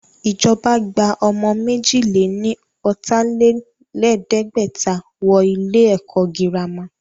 Ìjọba gba ọmọ méjì lè ní ọ̀tà-lé-lẹ̀ẹ́dẹ́gbẹ̀ta wọ ilé ẹ̀kọ́ girama